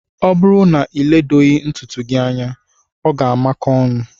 O bụrụ na iledoghi ntụtụ gị anya ọ makóó ọnụ.